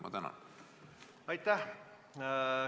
Aitäh!